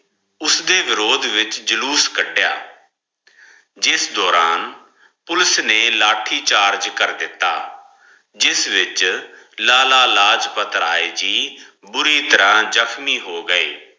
ਉਸ ਦੇ ਵਿਰੋਧ ਵਿਚ ਜਲੂਸ ਕੱਢਿਆ। ਜਿਸ ਦੋਰਾਨ ਪੁਲਿਸ ਨੇ ਲਾਠੀ charge ਕਰ ਦਿੱਤਾ ਜਿਸ ਵਿਚ ਲਾਲਾ ਲਾਜ ਪਤ ਰਾਏ ਜੀ ਬੂਰੀ ਤਾਰਾ ਜਖਮੀ ਹੌ ਗਾਏ